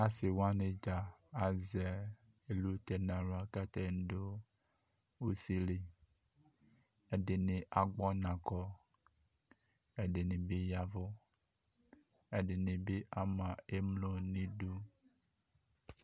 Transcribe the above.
Ase wane dza azɛ elute hla ka atane do usili Ɛdene agbɔnakɔ kɛ ɛdini be yavu Ɛdene be ama emlo nidu